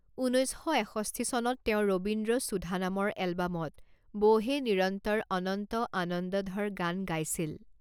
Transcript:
ঊনৈছ শ এষষ্ঠি চনত তেওঁ ৰবীন্দ্ৰ সুধা নামৰ এলবামত 'বোহে নিৰন্তৰ অনন্ত আনন্দধৰ' গান গাইছিল।